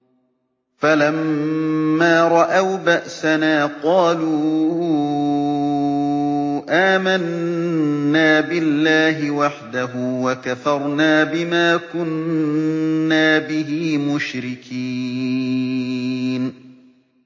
فَلَمَّا رَأَوْا بَأْسَنَا قَالُوا آمَنَّا بِاللَّهِ وَحْدَهُ وَكَفَرْنَا بِمَا كُنَّا بِهِ مُشْرِكِينَ